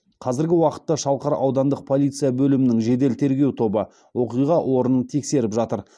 қазіргі уақытта шалқар аудандық полиция бөлімінің жедел тергеу тобы оқиға орнын тексеріп жатыр